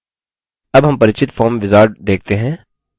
अब हम परिचित form wizard देखते हैं